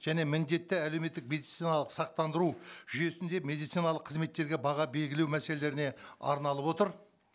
және міндетті әлеуметтік медициналық сақтандыру жүйесінде медициналық қызметтерге баға белгілеу мәселелеріне арналып отыр